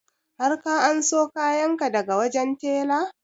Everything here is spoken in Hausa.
Har ka anso kayan ka daga wajen tela?